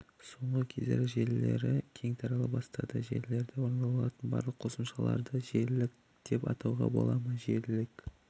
соңғы кездері желілері кең тарала бастады желілерде орындалатын барлық қосымшаларды желілік деп атауға бола ма желілік